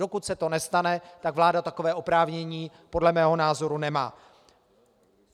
Dokud se to nestane, tak vláda takové oprávnění podle mého názoru nemá.